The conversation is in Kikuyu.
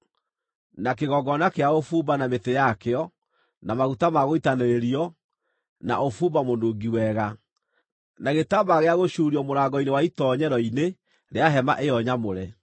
na kĩgongona kĩa ũbumba na mĩtĩ yakĩo, na maguta ma gũitanĩrĩrio, na ũbumba mũnungi wega; na gĩtambaya gĩa gũcuurio mũrango-inĩ wa itoonyero-inĩ rĩa hema ĩyo nyamũre;